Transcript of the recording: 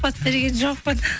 сұхбат берген жоқпын